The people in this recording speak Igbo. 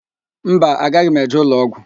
Mba, agaghị m eje ụlọọgwụ.